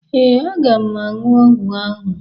Ee, aga m aṅụ ọgwọ ahụ.